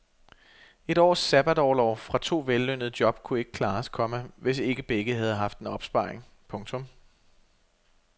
Et års sabbatorlov fra to vellønnede job kunne ikke klares, komma hvis ikke begge havde haft en opsparing. punktum